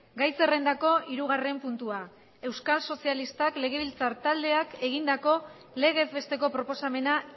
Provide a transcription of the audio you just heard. gai zerrendako hirugarren puntua euskal sozialistak legebiltzar taldeak egindako legez besteko proposamena